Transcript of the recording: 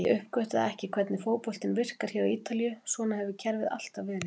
Ég uppgötvaði ekki hvernig fótboltinn virkar hér á Ítalíu, svona hefur kerfið alltaf verið.